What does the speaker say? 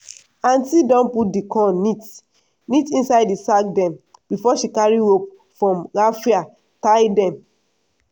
aunti don put di corn neat neat inside sack dem before she carry rope from raffia tie dem.